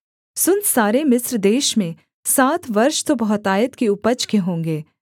सुन सारे मिस्र देश में सात वर्ष तो बहुतायत की उपज के होंगे